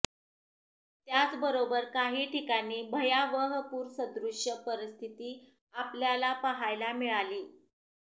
त्याचबरोबर काही ठिकाणी भयावह पूरसदृश्य परिस्थिती आपल्याला पाहायला मिळाली